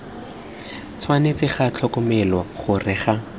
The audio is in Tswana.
tshwanetse ga tlhokomelwa gore ga